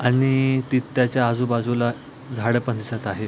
आणि त्याच्या आजूबाजूला झाड पण दिसत आहेत.